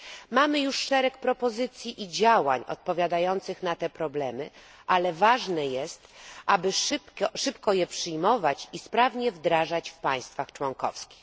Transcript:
Mamy już szereg propozycji i działań odpowiadających na te problemy, ale ważne jest, aby szybko je przyjmować i sprawnie wdrażać w państwach członkowskich.